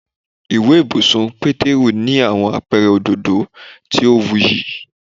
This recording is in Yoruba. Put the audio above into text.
Iwe ibusun ti Peteru ni awọn apẹrẹ ododo ti o wuyi